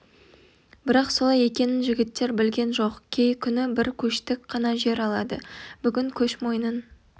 бірақ солай екенін жігіттер білген жоқ кей күні бір көштік қана жер алады бүгін көш мойнын